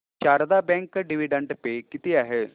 Sharda bank dividend pay किती आहे